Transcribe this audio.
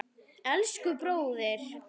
Elsku bróðir!